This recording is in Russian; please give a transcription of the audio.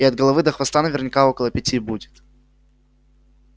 и от головы до хвоста наверняка около пяти будет